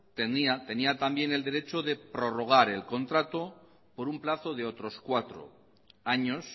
tenía también el derecho de prorrogar el contrato por un plazo de otros cuatros